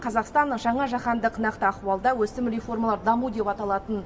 қазақстан жаңа жаһандық нақты ахуалда өсім реформалар даму деп аталатын